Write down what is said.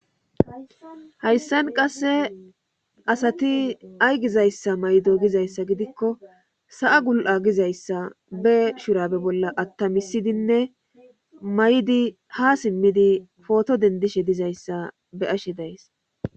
Hayssan qasse asati ay gizayssa maydo gizayssa gidikko sa7a gul7a gizayssa be shurabe bolla attamisidinne maydi ha simmidi pooto dendishe dizayssa be ashe days.